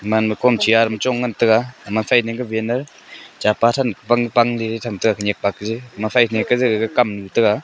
eman ma kom chair chong ngan taiga ema cha pan than pang pang ley gaga kam tega.